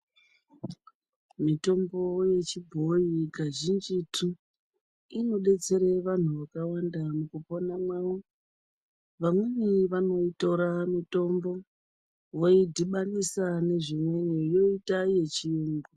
Mitombo yechibhoyi kazhinjitu inodetsere vantu vakawanda mukupona kwavo vamweni vanoitora mitombo voidhibanisa nezvimweni yoita yechiyungu.